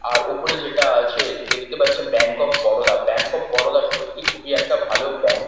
আর ওপরে যেটা আছে দেখতে পাচ্ছেন Bank of Baroda. Bank of Baroda সত্যি খুব একটা ভালো ব্যাঙ্ক ।